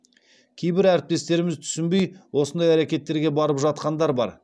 кейбір әріптестеріміз түсінбей осындай әрекеттерге барып жатқандар бар